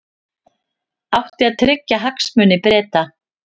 Átti að tryggja hagsmuni Breta